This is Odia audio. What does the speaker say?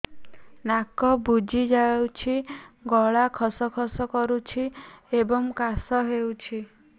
ନାକ ବୁଜି ଯାଉଛି ଗଳା ଖସ ଖସ କରୁଛି ଏବଂ କାଶ ହେଉଛି